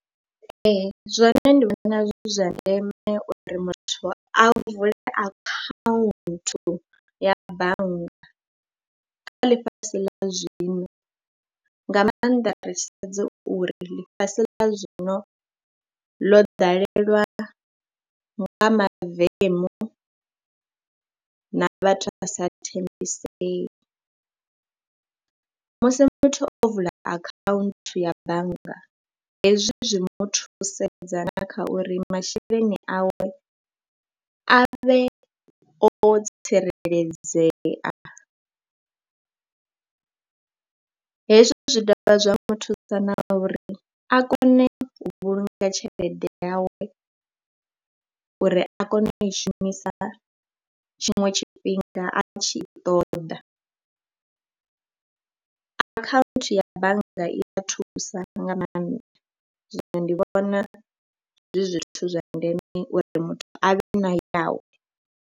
Ee, zwoṋe ndi vhona zwi zwa ndeme uri muthu a vule akhaunthu ya bannga kha ḽifhasi ḽa zwino, nga maanḓa ri tshi sedza uri ḽifhasi ḽa zwino ḽo dalelwa nga mavemu na vhathu a sa tambisei. Musi muthu o vula akhaunthu ya bannga hezwi zwi muthu thusedza na kha uri masheleni awe a vhe o tsireledzea, hezwo zwi dovha zwa mu thusa na uri a kone u vhulunga tshelede yawe uri a kone u i shumisa tshiṅwe tshifhinga a tshi i ṱoḓa. Akhaunthu ya bannga i ḓo thusa nga maanḓa, zwino ndi vhona zwi zwithu zwa ndeme uri muthu a vhe na yawe.